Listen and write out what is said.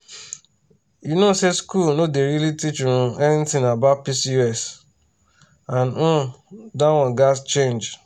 you know say school no dey really teach um anything about pcos and um that one gats change.